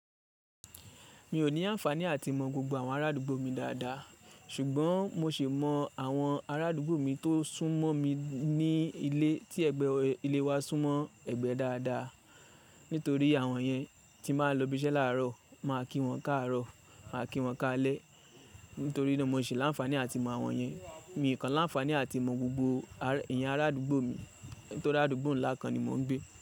Mi ò ní àǹfàní àtimọ gbogbo àwọn arádúgbò mi dáadáa, ṣùgbọ́n mo ṣì mọ àwọn arádúgbò mi tó sún mọ́ mi ní ilé tí ẹgbẹ́ ilé wa sún mọ́ ẹgbẹ́ dáadáa. Nítorí àwọn yẹn tí n ba lọ ibiṣẹ́ láàárọ̀, màá kí wọn káàárọ̀, màá kí wọn káalẹ́. Nítorí náà mo ṣì ní àǹfàní àtimọ àwọn yẹn. Mi kàn láǹfàní àtimọ gbogbo èèyàn arádúgbò mi. Nítorí arádúgbò ńlá kan ni mò ń gbé.